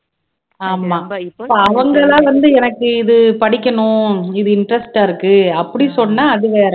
ஆமா அவங்களாதான் வந்து எனக்கு இது படிக்கணும் இது interest ஆ இருக்கு அப்படி சொன்னா அது வேற